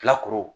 Fila kɔrɔ